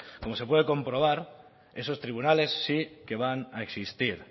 como se puede comprobar esos tribunales sí que van a existir